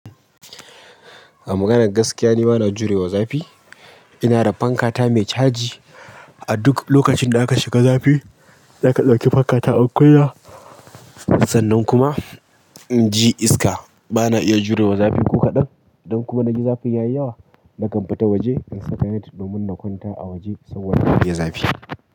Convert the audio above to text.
A maganar gaskiya ni bana jurewa zafi. Ina da fanka ta mai caji. A duk lokacin da aka shiga zafi, na ka dauke fanka ta in kunna. Sannan kuma inji iska. Bana iya jurewa zafi ko kaɗan. Idan kuma na ji zafin ya yi yawa, na kanfita waje in saka "net" domin na kwanta a waje saboda ya fi zafi.